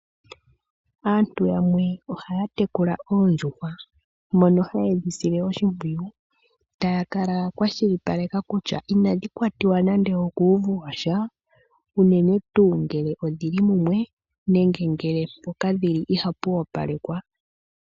Aantu yamwe ohaya tekula oondjuhwa mono haye dhi sile oshimpyiyu, takala ya kwashilipaleka kutya inadhi kwatiwa nande okuvu washa ,uunene tu ngele odhili mumwe nenge ngele mpoka dhili ohapu opalekwa.